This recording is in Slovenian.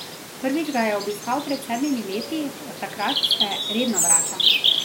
Prvič ga je obiskal pred sedmimi leti, od takrat se redno vrača.